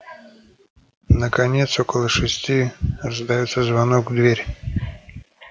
наконец около шести раздаётся звонок в дверь